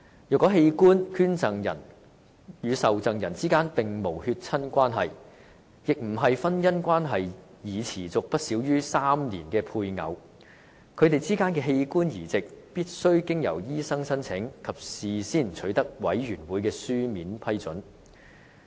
若器官捐贈人與受贈人之間並無血親關係，亦非婚姻關係已持續不少於3年的配偶，他們之間的器官移植，則必須經由醫生申請，以及事先取得委員會的書面批准。